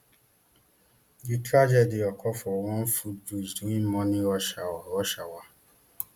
di tragedy occur for one footbridge during morning rush hour rush hour